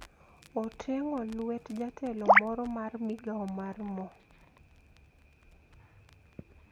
Oteng`o lwet jatelo moro mar migao mar mo